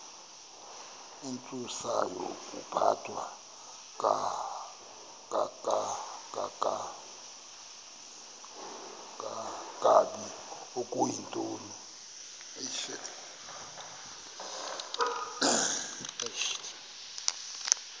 intsusayokuphathwa kakabi okuyintoni